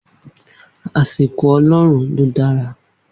Omi yi iya'a mon e e san gb'onane.